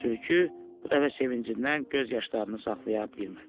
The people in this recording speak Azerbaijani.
Tülkü bu dəfə sevincindən göz yaşlarını saxlaya bilmədi.